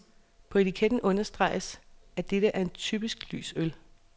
På etiketten understreges, at dette er en typisk lys øl.